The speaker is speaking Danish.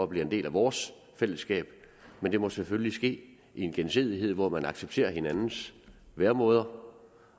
blive en del af vores fællesskab men det må selvfølgelig ske i en gensidighed hvor man accepterer hinandens væremåder